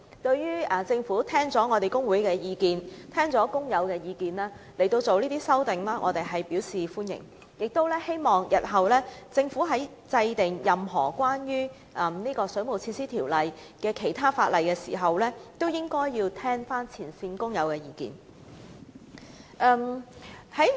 對於政府在聽取工會和工友的意見後作出相關修訂，我們表示歡迎，亦希望政府日後在制定任何關於《水務設施條例》的其他條文時，也能聆聽前線工友的意見。